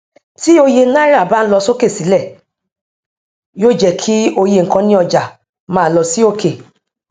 tí òye náírà bá ń lọ sókè sílẹ yóò jẹ kí òye nkan ní ọjà má lọ sí òkè